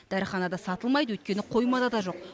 дәріханада сатылмайды өйткені қоймада да жоқ